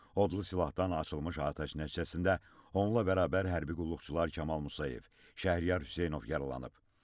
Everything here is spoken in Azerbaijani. Odlu silahdan açılmış atəş nəticəsində onunla bərabər hərbi qulluqçular Kamal Musayev, Şəhriyar Hüseynov yaralanıb.